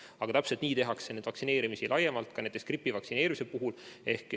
Aga täpselt nii tehakse vaktsineerimist laiemalt, ka näiteks gripi vastu vaktsineerimist.